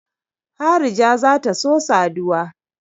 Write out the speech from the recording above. Harija za ta so saduwa.